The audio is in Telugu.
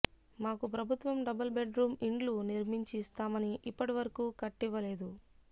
మాకు ప్రభుత్వం డబుల్బెడ్రూం ఇండ్లు నిర్మించి ఇస్తామని ఇప్పటివరకు కట్టివ్వ లేదు